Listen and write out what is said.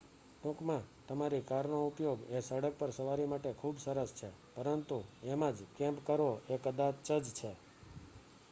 "ટૂંકમાં તમારી કારનો ઉપયોગ એ સડક પર સવારી માટે ખુબ સરસ છે પરંતુ એમાં જ "કેમ્પ" કરવો એ કદાચ જ છે.